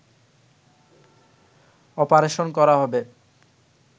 operation করা হবে